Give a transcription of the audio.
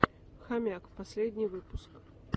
хомяк последний выпуск